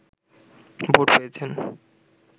vote পেয়েছেন